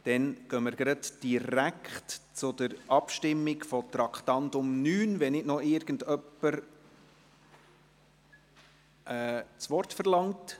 Wir kommen direkt zur Abstimmung des Traktandums 9, wenn nicht noch irgendjemand das Wort verlangt.